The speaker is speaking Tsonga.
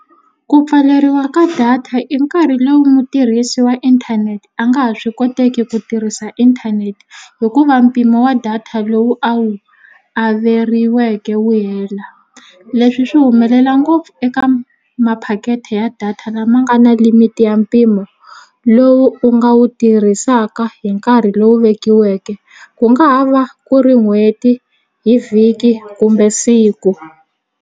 Ku pfaleriwa ka data i nkarhi lowu mutirhisi wa inthanete a nga ha swi koteki ku tirhisa inthanete hikuva mpimo wa data lowu a wu averiweke wu hela leswi swi humelela ngopfu eka maphaketi ya data lama nga na limit ya mpimo lowu u nga wu tirhisaka hi nkarhi lowu vekiweke ku nga ha va ku ri n'hweti hi vhiki kumbe siku.